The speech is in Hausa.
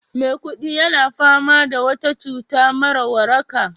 Maikudi yana fama da wata cuta mara waraka